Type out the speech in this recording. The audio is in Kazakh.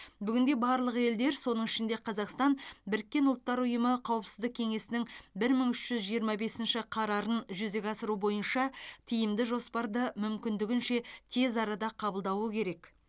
бүгінде барлық елдер соның ішінде қазақстан біріккен ұлттар ұйымы қауіпсіздік кеңесінің бір мың үш жүз жиырма бесінші қарарын жүзеге асыру бойынша тиімді жоспарды мүмкіндігінше тез арада қабылдауы керек